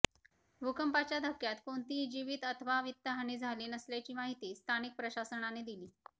भूकंपाच्या धक्क्यात कोणतीही जीवित अथवा वित्तहानी झाली नसल्याची माहिती स्थानिक प्रशासनाने दिली